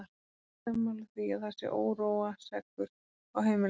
Erum við ekki sammála því að það sé óróaseggur á heimilinu!